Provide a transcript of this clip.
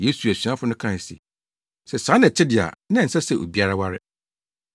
Yesu asuafo no kae se, “Sɛ saa na ɛte de a, na ɛnsɛ sɛ obiara ware.”